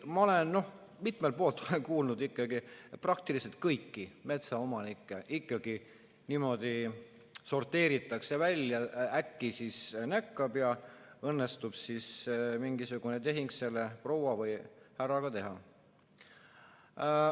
Ma olen mitmelt poolt kuulnud, ikkagi praktiliselt kõiki metsaomanikke niimoodi sorteeritakse välja, äkki näkkab ja õnnestub mingisugune tehing selle proua või härraga teha.